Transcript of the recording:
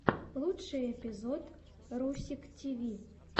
лучший эпизод русик тиви